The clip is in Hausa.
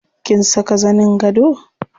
Kin saka zanin gado?